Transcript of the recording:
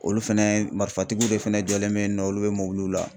Olu fɛnɛ matatigiw de fɛnɛ jɔlen be yen nɔ olu be mobiliw la